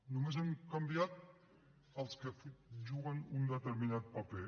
només han canviat els que juguen un determinat paper